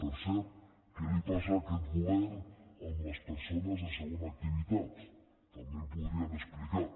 per cert què li passa a aquest govern amb les persones de segona activitat també ho podrien explicar